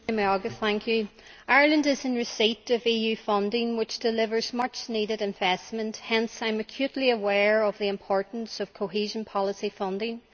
Mr President, Ireland is in receipt of EU funding which delivers much needed investment. Hence I am acutely aware of the importance of cohesion policy funding.